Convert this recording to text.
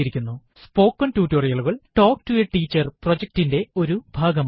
spoken ടുട്ടോറിയലുകൾ talk to a teacher പ്രൊജക്റ്റിറ്റിന്റെ ഒരു ഭാഗമാണ്